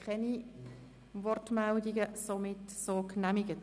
– Das ist nicht der Fall.